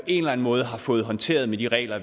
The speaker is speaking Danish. en eller en måde har fået håndteret med de regler